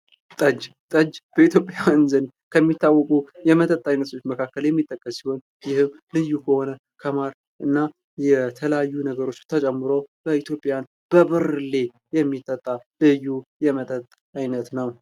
ጠጅ ። ጠጅ በኢትዮጵያውያን ዘንድ ከሚታወቁ የመጠጥ አይነቶች መካከል የሚጠቀስ ሲሆን ይህም ልዩ በሆነ ከማር እና የተለያዩ ነገሮች ተጨምሮ በኢትዮጵያውያን በብርሌ የሚጠጣ ልዩ የመጠጥ አይነት ነው ።